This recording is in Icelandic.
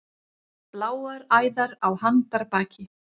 Bláar æðar á handarbaki.